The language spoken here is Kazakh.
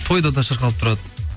тойда да шырқалып тұрады